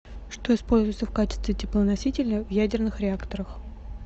что используется в качестве теплоносителя в ядерных реакторах